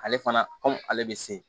Ale fana ale bɛ se